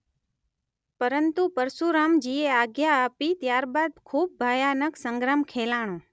પરંતુ પરશુરામજીએ આજ્ઞા આપી ત્યારબાદ ખૂબ ભયાનક સંગ્રામ ખેલાણો.